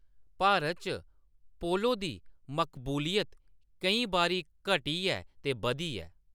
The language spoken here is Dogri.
भारत च पोलो दी मकबूलियत केईं बारी घटी ऐ ते बधी ऐ।